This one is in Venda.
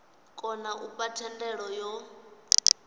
kona u fha thendelo yo